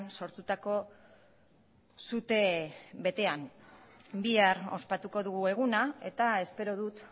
sortutako sute betean bihar ospatuko dugu eguna eta espero dut